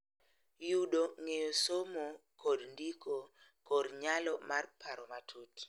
Yudo ng�eyo somo kod ndiko kod nyalo mar paro matut